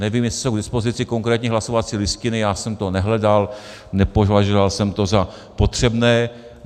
Nevím, jestli jsou k dispozici konkrétní hlasovací listiny, já jsem to nehledal, nepovažoval jsem to za potřebné.